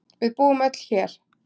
Við búum öll hér.